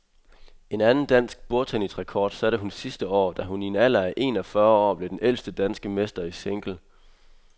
En anden dansk bordtennisrekord satte hun sidste år, da hun i en alder af en og fyrre år blev den ældste danske mester i single.